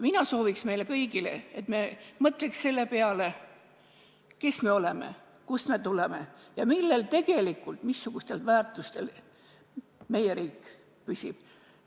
Ma sooviks meile kõigile, et me mõtleks selle peale, kes me oleme, kust me tuleme ja millel, missugustel väärtustel meie riik püsib.